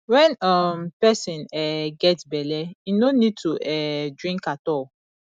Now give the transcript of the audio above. when um person um get bele im no need to um drink at all